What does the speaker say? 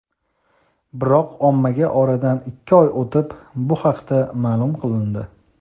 biroq ommaga oradan ikki oy o‘tib bu haqda ma’lum qilindi.